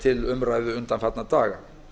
til umræðu undanfarna daga